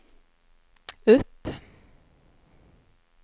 upp